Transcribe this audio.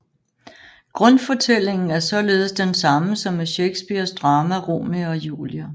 Grundfortællingen er således den samme som i Shakespeares drama Romeo og Julie